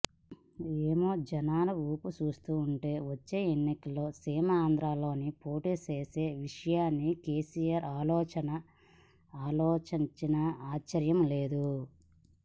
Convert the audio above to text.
ఏమో జనాల ఊపు చూస్తుంటే వచ్చే ఎన్నికల్లో సీమాంధ్రలోనూ పోటీ చేసే విషయాన్ని కెసిఆర్ ఆలోచించినా ఆశ్చర్యం లేదు